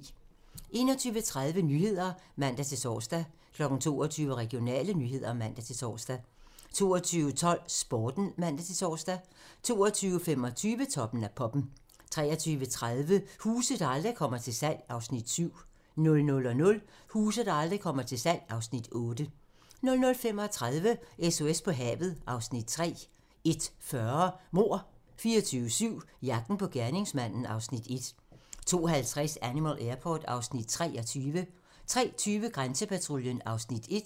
21:30: Nyhederne (man-tor) 22:00: Regionale nyheder (man-tor) 22:12: Sporten (man-tor) 22:25: Toppen af poppen 23:30: Huse, der aldrig kommer til salg (Afs. 7) 00:00: Huse, der aldrig kommer til salg (Afs. 8) 00:35: SOS på havet (Afs. 3) 01:40: Mord 24/7 - jagten på gerningsmanden (Afs. 1) 02:50: Animal Airport (Afs. 23) 03:20: Grænsepatruljen (Afs. 1)